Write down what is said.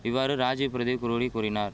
இவ்வாறு ராஜிவ் பிரதீப் குரோடி கூறினார்